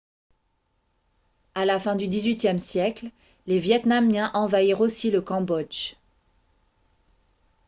à la fin du xviiie siècle les vietnamiens envahirent aussi le cambodge